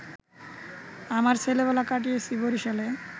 আমার ছেলেবেলা কাটিয়েছি বরিশালে